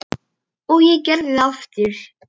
Og ég gerði það aftur.